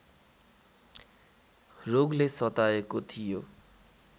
रोगले सताएको थियो